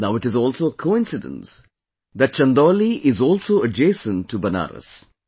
Now it is also a coincidence that Chandauli is also adjacent to Banaras